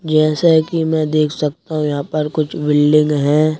जैसे कि मैं देख सकता हूं यहाँ पर कुछ बिल्डिंग हैं।